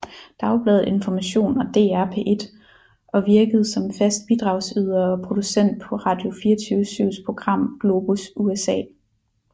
Dagbladet Information og DR P1 og virkede som fast bidragyder og producent på Radio24syvs program Globus USA